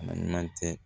Adama tɛ